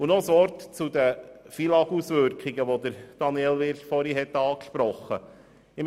Noch ein Wort zu den FILAG-Auswirkungen, die Grossrat Wyrsch angesprochen hat.